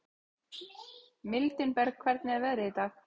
Mildinberg, hvernig er veðrið í dag?